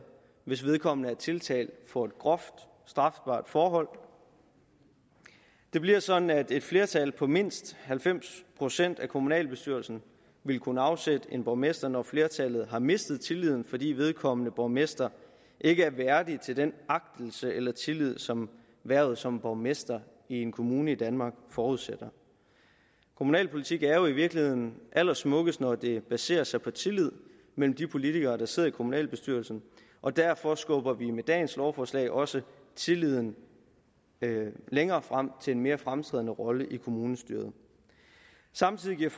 hvis vedkommende er tiltalt for et groft strafbart forhold det bliver sådan at et flertal på mindst halvfems procent af kommunalbestyrelsen vil kunne afsætte en borgmester når flertallet har mistet tilliden fordi vedkommende borgmester ikke er værdig til den agtelse eller tillid som hvervet som borgmester i en kommune i danmark forudsætter kommunalpolitik er jo i virkeligheden allersmukkest når det baserer sig på tillid mellem de politikere der sidder i kommunalbestyrelsen og derfor skubber vi med dagens lovforslag også tilliden længere frem til en mere fremtrædende rolle i kommunestyret samtidig giver